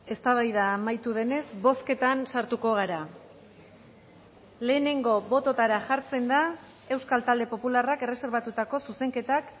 eztabaida amaitu denez bozketan sartuko gara lehenengo bototara jartzen da euskal talde popularrak erreserbatutako zuzenketak